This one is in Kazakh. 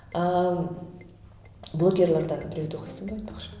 ааа блогерлерден біреуді оқисың ба айтпақшы